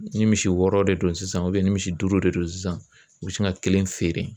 Ni misi wɔɔrɔ de don sisan ni misi duuru de don sisan u bi sin ka kelen feere